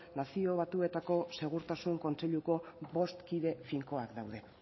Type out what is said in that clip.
nazio batuetako segurtasun kontseiluko bost kide finkoak daude